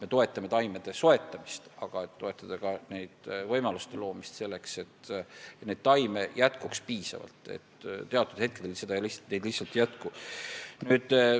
Me toetame taimede soetamist, aga on vaja toetada ka võimaluste loomist selleks, et neid taimi piisavalt jätkuks, sest teatud hetkedel neid lihtsalt ei jätku.